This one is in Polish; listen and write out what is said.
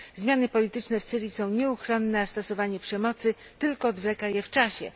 Zmiany polityczne w Syrii są nieuchronne, a stosowanie przemocy tylko odwleka je w czasie.